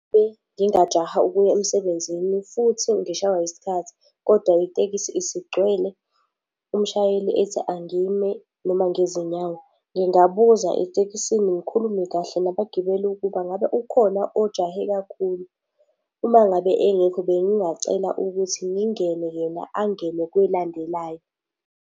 Mengingajaha ukuya emsebenzini futhi ngishaywa isikhathi, kodwa itekisi isigcwele, umshayeli ethi angime noma ngezinyawo, ngingabuza etekisini ngikhulume kahle nabagibeli ukuba ngabe ukhona ojahe kakhulu. Uma ngabe engekho bengingacela ukuthi ngingene, yena angene kwelandelayo.